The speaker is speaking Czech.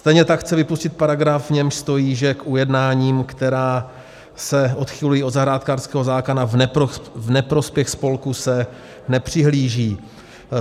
Stejně tak chce vypustit paragraf, v němž stojí, že k ujednáním, která se odchylují od zahrádkářského zákona v neprospěch spolku, se nepřihlíží.